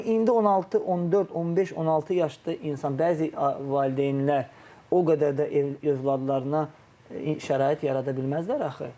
Amma indi 16, 14, 15, 16 yaşda insan, bəzi valideynlər o qədər də övladlarına şərait yarada bilməzlər axı.